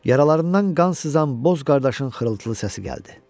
Yaralarından qan sızan boz qardaşın xırıltılı səsi gəldi.